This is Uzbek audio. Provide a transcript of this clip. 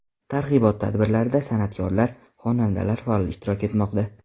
Targ‘ibot tadbirlarida san’atkorlar, xonandalar faol ishtirok etmoqda.